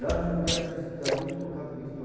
Lá não podia se estudar muito por causa de